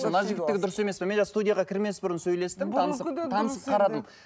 мына жігіттікі дұрыс емес пе мен жаңа студияға кірмес бұрын сөйлестім танысып танысып қарадым